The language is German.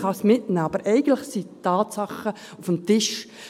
Man kann es mitnehmen, aber eigentlich sind die Tatsachen auf dem Tisch.